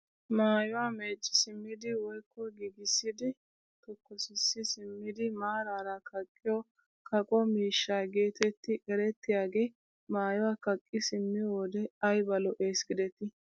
Maayuwa meecci simmidi woykko giigissidi tokkosissi simmidi maarara kaqqiyo kaqo miishsha getetti erettiyagee maayuwa kaqqi simmiyoo wode ayba lo"ees giidetii!